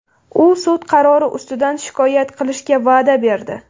U sud qarori ustidan shikoyat qilishga va’da berdi.